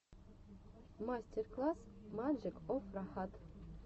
мастер класс маджик оф рахат